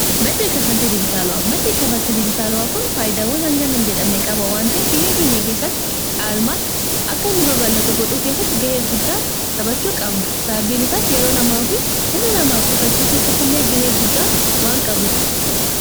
madde kka faltii dijitaalu'a maddee kka faltii dijitaalo'aa kun faayidaawwan hangaa jedhamne qaba waanti fiyya keenya keessatti caalmaatti akka inni babalatu godhuu keessatti gahee guddaa sapachuu qaabna sababbiin isaas yeroo namaa fi humna namaa qusachuu keessatti illee gahee guddaa waan qabuuf